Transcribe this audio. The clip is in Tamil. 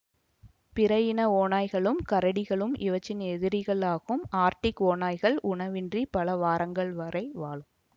பிற இன ஓநாய்களும் கரடிகளும் இவற்றின் எதிரிகள் ஆகும் ஆர்டிக் ஓநாய்கள் உணவின்றி பல வாரங்கள் வரை வாழும்